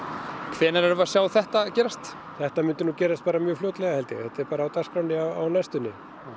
hvenær erum við að sjá þetta gerast þetta myndi nú gerast bara mjög fljótlega held ég þetta er bara á dagskránni á næstunni